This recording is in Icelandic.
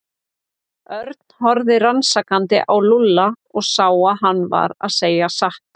Örn horfði rannsakandi á Lúlla og sá að hann var að segja satt.